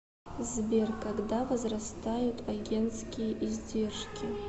сбер когда возрастают агентские издержки